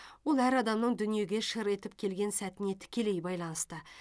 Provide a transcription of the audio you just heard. ол әр адамның дүниеге шыр етіп келген сәтіне тікелей байланысты